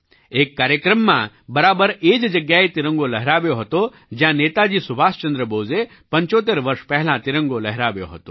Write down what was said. એક કાર્યક્રમમાં બરાબર એ જ જગ્યાએ તિરંગો લહેરાવ્યો હતો જ્યાં નેતાજી સુભાષચંદ્ર બોઝે 75 વર્ષ પહેલાં તિરંગો લહેરાવ્યો હતો